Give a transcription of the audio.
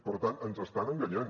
per tant ens estan enganyant